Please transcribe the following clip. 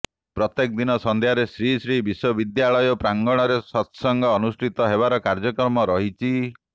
ପ୍ରତ୍ୟେକ ଦିନ ସନ୍ଧ୍ୟାରେ ଶ୍ରୀ ଶ୍ରୀ ବିଶ୍ୱବିଦ୍ୟାଳୟ ପ୍ରାଙ୍ଗଣରେ ସତ୍ସଙ୍ଗ୍ ଅନୁଷ୍ଠିତ ହେବାର କାର୍ଯ୍ୟକ୍ରମ ରହିଛି